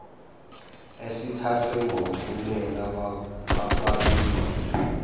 esithathwe ngomphumela wokwabiwa